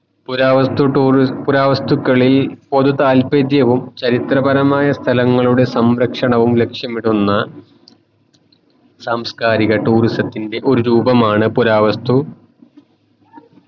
പുരാവസ്തു ടോര് പുരാവസ്തുക്കളിൽ പൊതു താല്പര്യവും ചരിത്രപരമായ സ്ഥലങ്ങളുടെ സംരക്ഷണവും ലക്ഷ്യമിടുന്ന സാംസ്‌കാരിക tourism ത്തിൻറെ ഒരു രൂപമാണ് പുരാവസ്തു